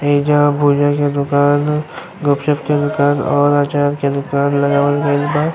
एइजा भुजा के दुकान ह। गुपचुप के दुकान और अचार के दुकान लगावल गइल बा।